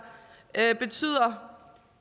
betyder